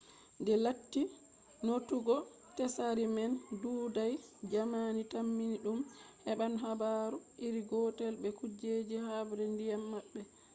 de latti notugo tsari man ɗuuɗai jamani tammi ɗum heɓan habaru iri gotel be kujeji habre ndiyam maɓɓe